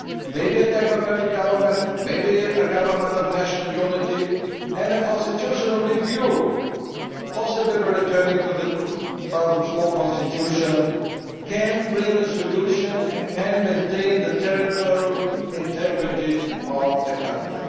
Maybe a technocratic government or a government of national unity and a constitutional review possibly returning to the 2004 constitution can bring a solution and can maintain the territorial integrity of the country.